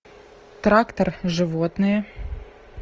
трактор животные